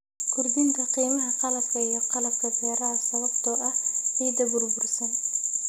Kordhinta qiimaha qalabka iyo qalabka beeraha sababtoo ah ciidda burbursan.